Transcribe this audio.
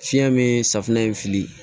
Fiɲɛ min safunɛ in fili